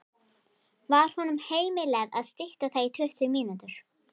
Var honum heimilað að stytta það í tuttugu mínútur.